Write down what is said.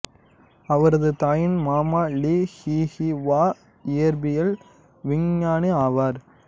அவரது தாயின் மாமா லி ஷுஹுவா இயற்பியல் விஞ்ஞானி ஆவார்